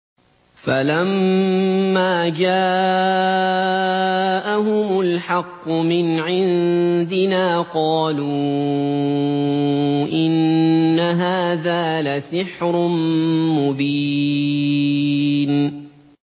فَلَمَّا جَاءَهُمُ الْحَقُّ مِنْ عِندِنَا قَالُوا إِنَّ هَٰذَا لَسِحْرٌ مُّبِينٌ